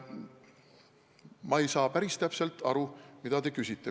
Ma ei saanud päris täpselt aru, mida te küsisite.